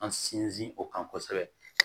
An sinsin o kan kosɛbɛ